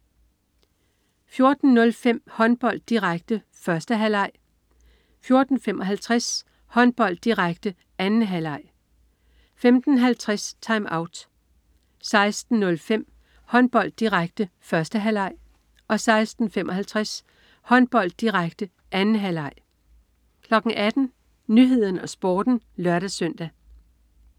14.05 Håndbold, direkte. 1. halvleg 14.55 Håndbold, direkte. 2. halvleg 15.50 TimeOut 16.05 Håndbold, direkte. 1. halvleg 16.55 Håndbold, direkte. 2. halvleg 18.00 Nyhederne og Sporten (lør-søn)